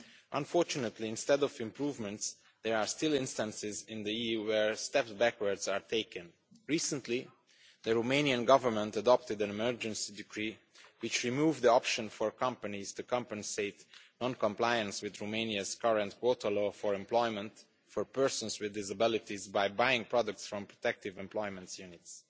Unfortunately, instead of improvements, there are still instances in the EU where backward steps are taken. Recently, the Romanian Government adopted an emergency decree which removed the option for companies to compensate non compliance with Romania's current quota law for employment for persons with disabilities by buying products from protective employment units.